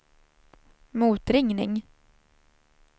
motringning